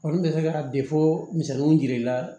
n bɛ se ka de fɔ misɛnninw jir'i la